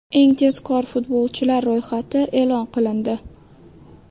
Eng tezkor futbolchilar ro‘yxati e’lon qilindi.